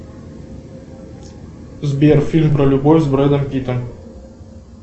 сбер фильм про любовь с брэдом питтом